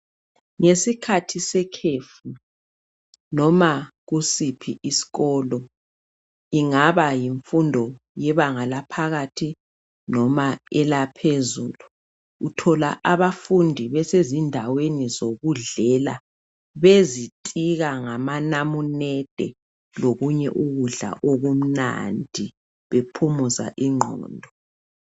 Ngesikhathi sekhefu noma kusiphi isikolo, ingaba yimfundo yebanga laphakathi noma elaphezulu uthola abafundi besezindaweni zokudlela bezitika ngama namunede lokunye ukudla okumnandi bephumuza ingqondo.